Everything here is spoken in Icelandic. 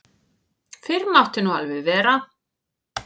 Fyrr mátti nú vera!